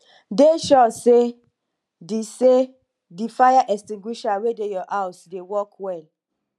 dey sure sey di sey di fire extinguisher wey dey your house dey work well